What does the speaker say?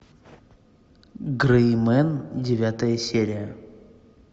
грей мен девятая серия